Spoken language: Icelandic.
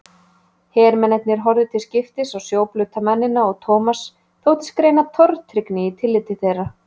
Hermennirnir horfðu til skiptis á sjóblauta mennina og Thomas þóttist greina tortryggni í tilliti þeirra.